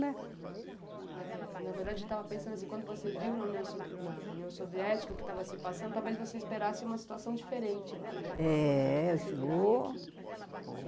né. É na verdade, eu estava pensando assim, quando você viu na União sovi na União Soviética o que estava se passando, talvez você esperasse uma situação diferente lá, né? Eh, ô ô